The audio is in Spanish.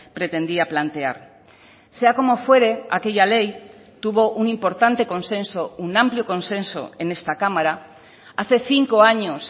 pretendía plantear sea como fuere aquella ley tuvo un importante consenso un amplio consenso en esta cámara hace cinco años